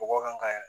Bɔgɔ kan ka